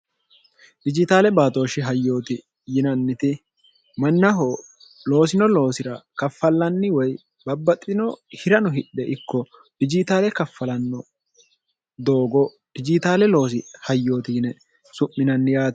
rijitaale baatooshshi hayyooti yinanniti mannaho loosino loosira kaffallanni woy babbaxino hirano hidhe ikko rijitaale kaffalanno doogo rijitaale loosi hayyooti yine su'minanni yaati